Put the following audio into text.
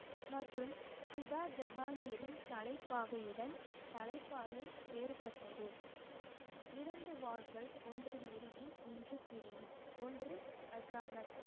மற்றும் சிதா ஜஹாங்கிரின் தலைப்பாகையுடன் தலைப்பாகை வேறுபட்டது இரண்டு வாள்கள் ஒன்று நெறியின் ஒன்று பிரி ஒன்று அஜாமத்